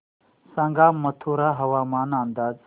सांगा मथुरा हवामान अंदाज